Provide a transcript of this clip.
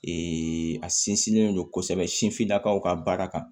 Ee a sinsinnen don kosɛbɛ sinfinnakaw ka baara kan